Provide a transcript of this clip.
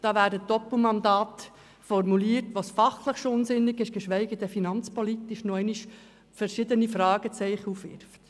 Da realisiert man auf einmal, dass Doppelmandate formiert werden, die allein schon aus fachlicher Sicht unsinnig sind und in finanzpolitischer Hinsicht nochmals verschiedene Fragen aufwerfen.